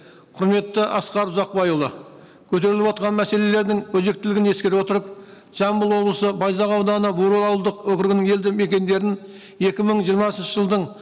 құрметті асқар ұзақбайұлы көтеріліп отырған мәселелердің өзектілігін ескере отырып жамбыл облысы байзақ ауданы бұрыл ауылдық округінің елді мекендерін екі мың жиырмасыншы жылдың